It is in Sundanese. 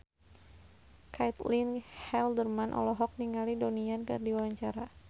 Caitlin Halderman olohok ningali Donnie Yan keur diwawancara